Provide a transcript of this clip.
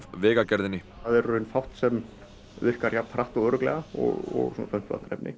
Vegagerðinni það er í raun fátt sem virkar jafn hratt og örugglega og